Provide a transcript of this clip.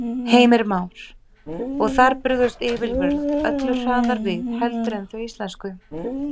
Heimir Már: Og þar brugðust yfirvöld öllu hraðar við heldur en þau íslensku?